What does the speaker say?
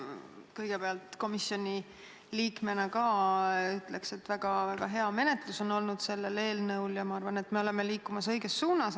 Kõigepealt, komisjoni liikmena ma ütleks, et selle eelnõu menetlus on olnud väga hea ja me liigume õiges suunas.